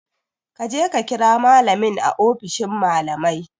Kaje ka kira malamin a ofishin malamai